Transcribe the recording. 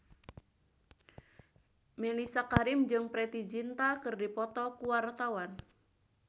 Mellisa Karim jeung Preity Zinta keur dipoto ku wartawan